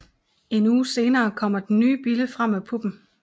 En uge senere kommer den nye bille frem af puppen